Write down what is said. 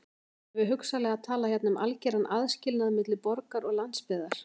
Erum við hugsanlega að tala hérna um algeran aðskilnað milli borgar og landsbyggðar?